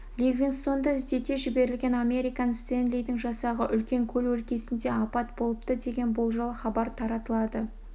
ливингстонды іздете жіберілген американ стенлидің жасағы үлкен көл өлкесінде апат болыпты деген болжал хабар таралады